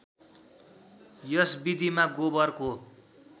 यस विधिमा गोबरको